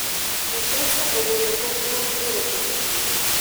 mpesa ogolo kony mar oro pesa piyo